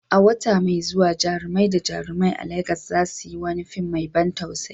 Wata mai zuwa, jarumai da jarumai a Legas za su yi wani fim mai ban tausayi